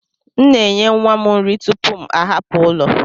M na enye nwa m nri tupu m ahapụ ụlọ.